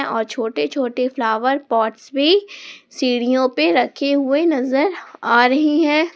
और छोटे छोटे फ्लावर पॉट्स भी सीढ़ियों पे रखे हुए नजर आ रही है।